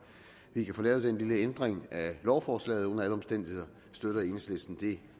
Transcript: vi kan få lavet den lille ændring af lovforslaget under alle omstændigheder støtter enhedslisten det